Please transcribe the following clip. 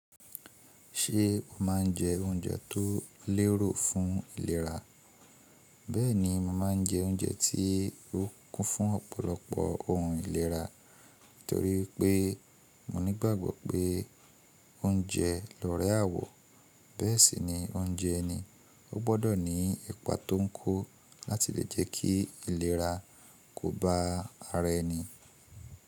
Ṣé o máa ń jẹ oúnjẹ tó lérò fún ìlera? Bẹ́ẹ̀ni, mo máa ń jẹ oúnjẹ tí ó kún fún ọ̀pọ̀lọpọ̀ ohun ìlera, torí pé mo nígbàgbọ́ pé oúnjẹ lórẹ àwọ̀, bẹ́ẹ̀ sì ni oúnjẹ ẹni, ó gbọdọ̀ ní ipa tó ń kò láti lè jẹ́ kí ìlera kó ba ara ẹni.